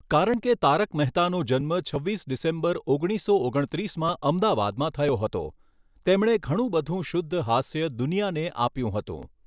કારણ કે તારક મહેતાનો જન્મ છવ્વીસ ડીસૅમ્બર ઓગણીસો ઓગણત્રીસમાં અમદાવાદમાં થયો હતો તેમણે ઘણું બધું શુદ્ધ હાસ્ય દુનિયાને આપ્યું હતું.